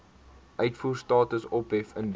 uitvoerstatus ophef indien